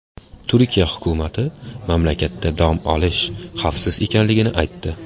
Turkiya hukumati mamlakatda dam olish xavfsiz ekanligini aytdi.